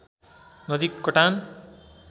नदी कटान